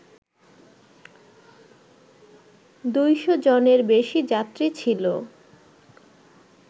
দুইশজনের বেশি যাত্রী ছিল